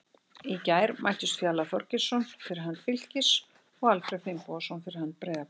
Í gær mættust Fjalar Þorgeirsson fyrir hönd Fylkis og Alfreð Finnbogason fyrir hönd Breiðabliks.